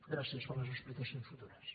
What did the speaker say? gràcies per les explicacions futures